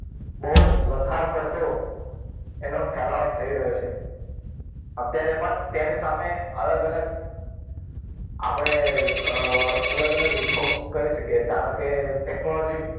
બહુ જ વધારે પડતો એનો ફેલાવો થઈ રહ્યો છે અત્યારે પણ તેની સામે અલગ અલગ આપણે અલગ અલગ વિભાગ કરી શકે ધારો કે technology